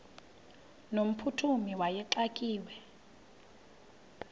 no mphuthumi wayexakiwe